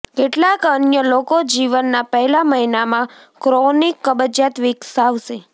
કેટલાક અન્ય લોકો જીવનના પહેલા મહિનામાં ક્રોનિક કબજિયાત વિકસાવશે